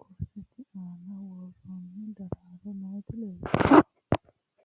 kurisette aanna woroonni daraaro nootti leelittanno